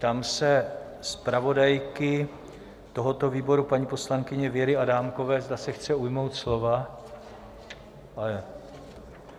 Ptám se zpravodajky tohoto výboru, paní poslankyně Věry Adámkové, zda se chce ujmout slova.